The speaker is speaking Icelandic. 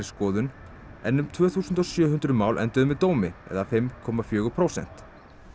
skoðun en um tvö þúsund og sjö hundruð mál enduðu með dómi eða fimm komma fjögur prósent